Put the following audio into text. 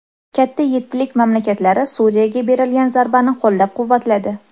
Katta yettilik mamlakatlari Suriyaga berilgan zarbani qo‘llab-quvvatladi.